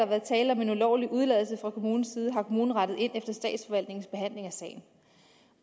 været tale om en ulovlig udeladelse fra kommunens side har kommunen rettet ind efter statsforvaltningens behandling af sagen